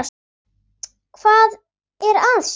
Hvað er að Stína?